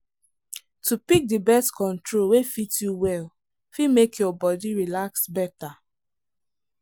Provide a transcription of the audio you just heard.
to pick the birth control wey fit you well fit make your body relax better.